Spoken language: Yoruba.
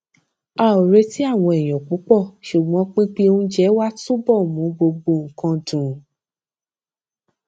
a ò retí àwọn èèyàn púpọ ṣùgbọn pínpín oúnjẹ wa túbọ mú gbogbo nǹkan dùn